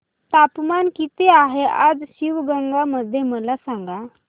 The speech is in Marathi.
तापमान किती आहे आज शिवगंगा मध्ये मला सांगा